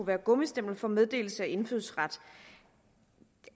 være gummistempel for meddelelse af indfødsret